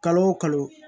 Kalo o kalo